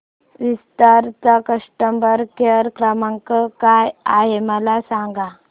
विस्तार चा customer care क्रमांक काय आहे मला सांगा